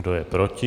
Kdo je proti?